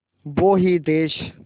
वो ही देस